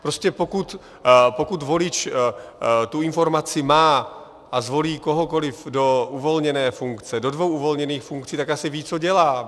Prostě pokud volič tu informaci má a zvolí kohokoliv do uvolněné funkce, do dvou uvolněných funkcí, tak asi ví, co dělá.